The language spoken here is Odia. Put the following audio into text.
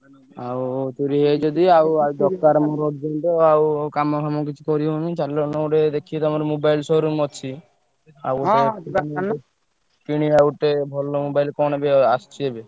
ଆଉ ଚୋରୀ ହେଇଯାଇଛି ଯଦି ଆଉ ଆଉ ଦରକାର ମୋର urgent ଆଉ କାମ ଫାମ କିଛି କରିହଉନି ଚାଲୁନ ଗୋଟେ ଦେଖିକି ତମର mobile showroom ଅଛି ଆଉ କିଣିଆ ଗୋଟେ ଭଲ mobile କଣ ଏବେ ଆସିଛି ଏବେ?